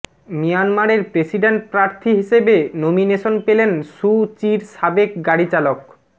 মিয়ানমারের প্রেসিডেন্ট প্রার্থী হিসেবে নমিনেশন পেলেন সু চির সাবেক গাড়ি চালক